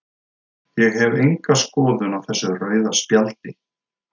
Ég hef enga skoðun á þessu rauða spjaldi.